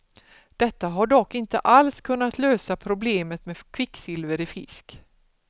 Detta har dock inte alls kunnat lösa problemet med kvicksilver i fisk.